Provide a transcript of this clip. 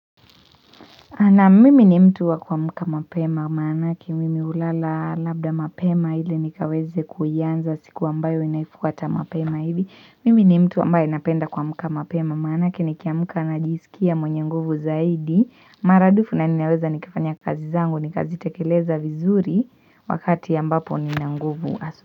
Na mimi ni mtu wa kuamuka mapema maanake, mimi ulala labda mapema hile nikaweze kuanza siku ambayo inaifuata mapema hivi. Mimi ni mtu ambaye napenda kuamka mapema manake, ni kiamka na jisikia mwenye nguvu zaidi. Maradufu na ninaweza nikafanya kazi zangu, nikazi tekeleza vizuri wakati ambapo nina nguvu.